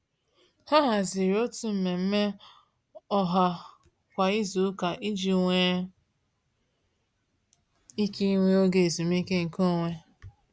Ha haziri otu mmemme ọha kwa izuụka iji nwe ike ịnwe oge ezumiike nke onwe.